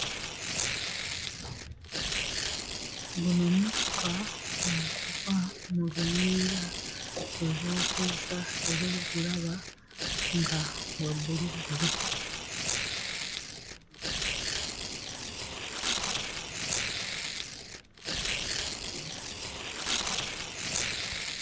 Guno mukka oguva mu luyiira lwe bookezza era ogulaba nga gwa bbulubbulu.